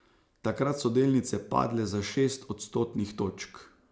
Takrat so delnice padle za šest odstotnih točk.